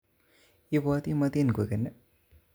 Ibwotin motin koken